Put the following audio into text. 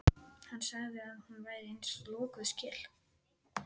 Hann sagði að hún væri eins og lokuð skel.